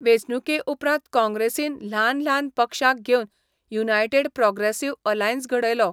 वेंचणुकेउपरांत काँग्रेसीन ल्हान ल्हान पक्षांक घेवन 'युनायटेड प्रॉग्रॅसिव्ह अलायन्स' घडयलो.